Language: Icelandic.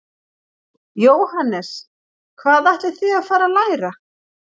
Jóhannes: Hvað ætlið þið að fara að læra?